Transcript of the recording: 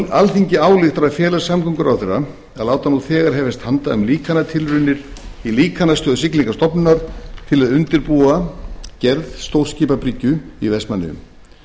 alþingi ályktar að fela samgönguráðherra að láta nú þegar hefjast handa um líkantilraunir í líkanstöð siglingastofnunar til að undirbúa gerð stórskipabryggju í vestmannaeyjum